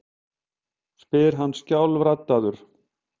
spyr hann skjálfraddaður.